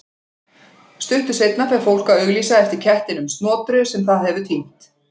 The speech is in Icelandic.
Stuttu seinna fer fólk að auglýsa eftir kettinum Snotru sem það hefur týnt.